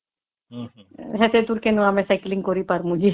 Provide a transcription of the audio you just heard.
ଏତେ ଦୂର କେମିତି ଆମେ ସାଇକେଲ କରି ପାରିବୁ ଯେ